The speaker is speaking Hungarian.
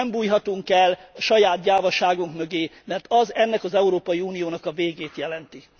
Nem bújhatunk el a saját gyávaságunk mögé, mert az ennek az Európai Uniónak a végét jelenti.